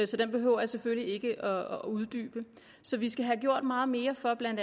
så den behøver jeg selvfølgelig ikke at uddybe så vi skal have gjort meget mere for bla